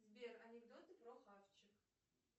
сбер анекдоты про хавчик